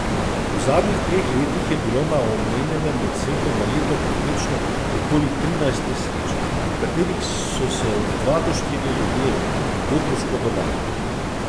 V zadnjih treh letih je bilo na omenjenem odseku na leto povprečno okoli trinajst nesreč, v katerih so se od dva do štirje ljudje hudo poškodovali.